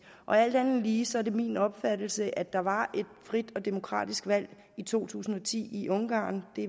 og alt andet lige er det min opfattelse at der var et frit og demokratisk valg i to tusind og ti i ungarn det